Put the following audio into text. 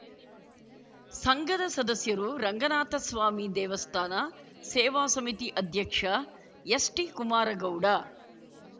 ಸಂಘದ ಸದಸ್ಯರು ರಂಗನಾಥ ಸ್ವಾಮಿ ದೇವಸ್ಥಾನ ಸೇವಾ ಸಮಿತಿ ಅಧ್ಯಕ್ಷ ಎಸ್‌ಟಿ ಕುಮಾರಗೌಡ